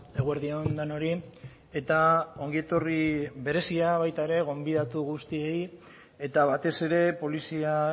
eguerdi on denoi eta ongietorri berezia baita ere gonbidatu guztiei eta batez ere polizia